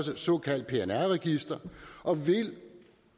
såkaldt pnr register